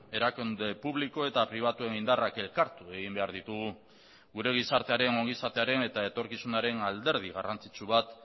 erakunde publiko eta pribatuen indarrak elkartu egin behar ditugu gure gizartearen ongizatearen eta etorkizunaren alderdi garrantzitsu bat